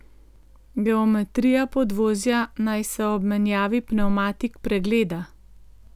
Geometrija podvozja naj se ob menjavi pnevmatik pregleda.